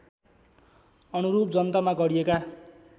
अनुरूप जनतामा गरिएका